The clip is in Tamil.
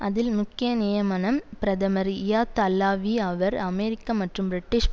அதில் முக்கிய நியமனம் பிரதமர் இயாத் அல்லாவி அவர் அமெரிக்க மற்றும் பிரிட்டிஷ்